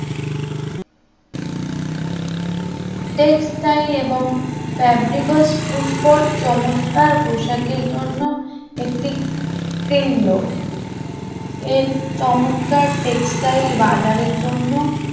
textile এবং fabric cloth Pushkar চমৎকার পোশাকের জন্য একটি কেন্দ্র এর চমৎকার টেক্সটাইল বাজারের জন্য